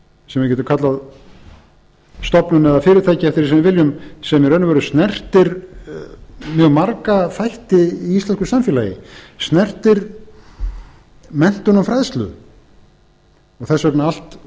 sem við getum kallað stofnun eða fyrirtæki eftir því sem við viljum sem í raun og veru snertir mjög marga þætti í íslensku samfélagi snertir menntun og fræðslu þess vegna allt